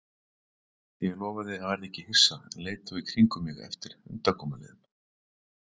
Ég lofaði að verða ekki hissa en leit þó í kringum mig eftir undankomuleiðum.